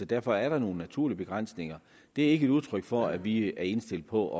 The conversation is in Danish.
derfor er der nogle naturlige begrænsninger det er ikke et udtryk for at vi er indstillet på